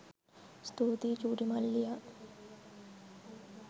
ස්තුතියි චුටි මල්ලියා